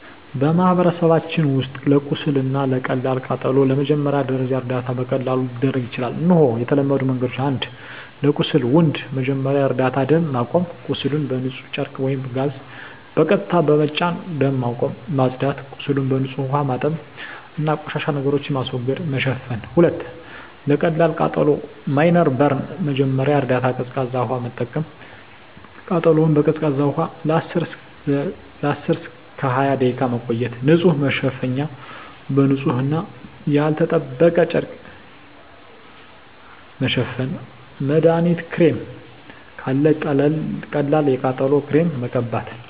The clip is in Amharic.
በማህበረሰባችን ውስጥ ለቁስል እና ለቀላል ቃጠሎ የመጀመሪያ ደረጃ እርዳታ በቀላሉ ሊደረግ ይችላል። እነሆ የተለመዱ መንገዶች፦ 1. ለቁስል (Wound) መጀመሪያ እርዳታ ደም ማቆም – ቁስሉን በንጹህ ጨርቅ ወይም ጋዝ በቀስታ በመጫን ደም ማቆም። ማጽዳት – ቁስሉን በንጹህ ውሃ ማጠብ እና ቆሻሻ ነገሮችን ማስወገድ። መሸፈን – 2. ለቀላል ቃጠሎ (Minor Burn) መጀመሪያ እርዳታ ቀዝቃዛ ውሃ መጠቀም – ቃጠሎውን በቀዝቃዛ ውሃ ለ10–20 ደቂቃ መቆየት። ንጹህ መሸፈኛ – በንጹህ እና ያልተጠበቀ ጨርቅ መሸፈን። መድሀኒት ክሬም – ካለ ቀላል የቃጠሎ ክሬም መቀበት።